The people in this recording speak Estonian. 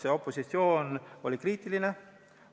Sest opositsioon oli kriitiline.